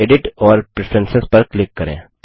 edit और preference पर click करें